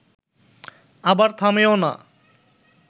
আবার থামেও না